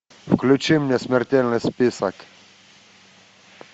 включи мне смертельный список